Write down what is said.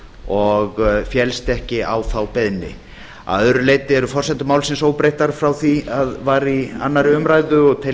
og féllst ekki á þá beiðni að öðru leyti eru forsendur málsins óbreyttar frá því var í annarri umræðu og tel ég